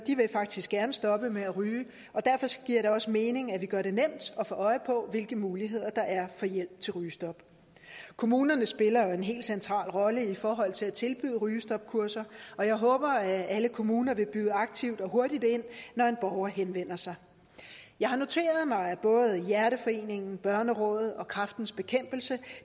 faktisk gerne vil stoppe med at ryge og derfor giver det også mening at vi gør det nemt at få øje på hvilke muligheder der er for hjælp til rygestop kommunerne spiller en helt central rolle i forhold til at tilbyde rygestopkurser og jeg håber at alle kommuner vil byde aktivt og hurtigt ind når en borger henvender sig jeg har noteret mig at både hjerteforeningen børnerådet og kræftens bekæmpelse